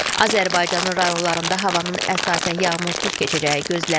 Azərbaycanın rayonlarında havanın əsasən yağmursuz keçəcəyi gözlənilir.